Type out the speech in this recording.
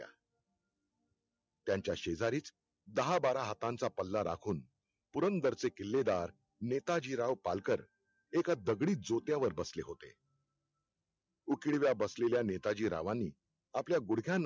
त्यांच्या शेजारीच दाहा बारा हातांचा पल्ला राखून, पुरुंदरचे किल्लेदार नेताजीराव पालकर एका दगडी ज्योत्यावर बसले होते. उकिडव्या बसलेल्या नेताजी रावांनी आपल्या गुडघ्याना